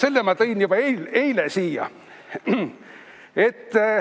Selle ma tõin juba eile siia.